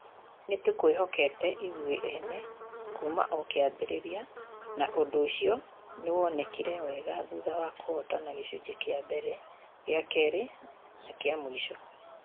Nĩ tũkwĩhokete ithũĩ ene kuuma o kĩambĩrĩria na ũndũ ũcio nĩ wonekire wega thutha wa kũhootana gĩcunjĩ kĩa mbere, gĩa kerĩ na kĩa mũico.